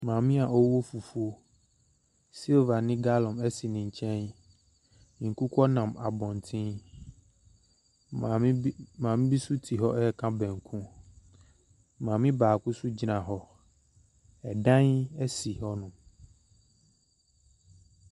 Maame bi a ɔrewɔ fufuo. Silva ne galɔn si ne nkyɛn. Nkokɔ nam abɔnten. Maame bi nso te hɔ reka banku. Maame baako nso gyina hɔ. Ɛdan ɛsi hɔnom.